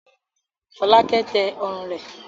Fọ́lákẹ́ tẹ ọrùn rẹ̀.